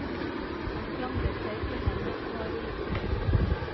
Han klamret seg til henne og var ulykkelig.